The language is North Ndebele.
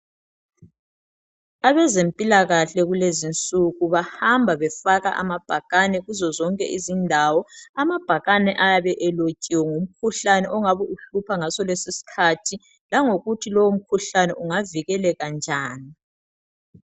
Abezempilakahle kulezinsuku bahamba befaka amabhakane kuzozonke izindawo amabhakane ayabe lotshiwe ngomkhuhlane ongabuhlupha ngaso lesi iskhathi langokutho lomkhuhlane ungavikeleka njani